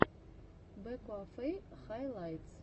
блэкуэфэй хайлайтс